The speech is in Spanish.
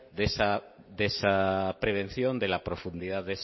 de esa prevención de la profundidad